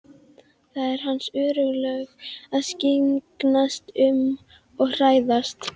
Það eru hans örlög að skyggnast um og fræðast.